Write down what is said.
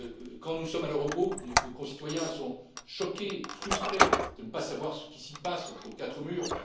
quand nous sommes à l'Eurogroupe, nos concitoyens sont choqués et frustrés de ne pas savoir ce qui s'y passe, entre quatre murs.